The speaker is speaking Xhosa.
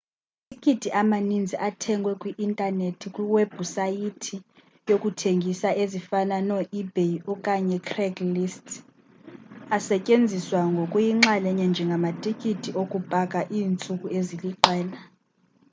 amatikiti amaninzi athengwe kwi-intanethi kwiwebhusayithi zokuthengisa ezifana noebay okanye ucraigslist asetyenziswa ngokuyinxalenye njengamatiki okupaka iintsuku eziliqela